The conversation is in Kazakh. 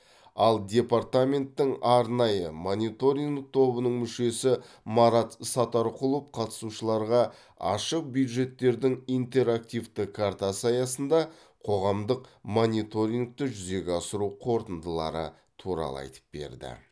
ал департаменттің арнайы мониторинг тобының мүшесі марат сатарқұлов қатысушыларға ашық бюджеттердің интерактивті картасы аясында қоғамдық мониторингті жүзеге асыру қорытындылары туралы айтып берді